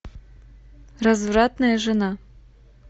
развратная жена